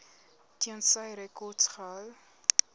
tensy rekords gehou